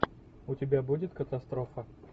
у тебя будет катастрофа